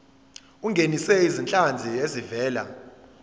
ungenise izinhlanzi ezivela